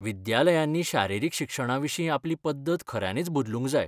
विद्यालयांनी शारिरीक शिक्षणाविशीं आपली पद्दत खऱ्यांनीच बदलूंक जाय.